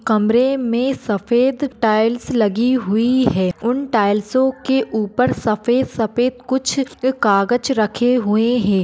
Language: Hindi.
कमरे मे सफ़ेद टाइल्स लगी हुई है। उन टाइल्सो के उपर सफ़ेद-सफ़ेद कुछ कागज रखे हुए है।